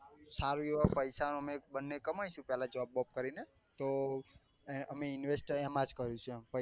સારા એવા પૈસા અમે બન્ને કમાઈસું પેલા job વોબ કરી ને તો અ અમે invest અય એમાં જ કરીશું પૈસા.